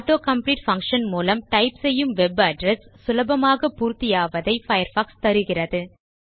auto complete function மூலம் type செய்யும் web address சுலபமாக பூர்த்தி ஆவதை பயர்ஃபாக்ஸ் தருகிறது